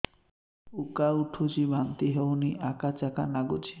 ଉକା ଉଠୁଚି ବାନ୍ତି ହଉନି ଆକାଚାକା ନାଗୁଚି